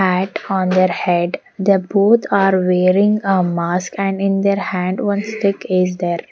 Hat on their head they both are wearing a mask and in their hand one stick is there.